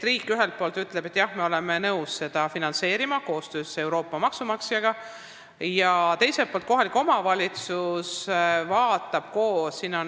Riik ühelt poolt ütleb, et me oleme nõus seda finantseerima koostöös Euroopa maksumaksjaga, ja teiselt poolt teeb seda kohalik omavalitsus.